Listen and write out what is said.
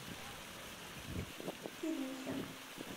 кирюхе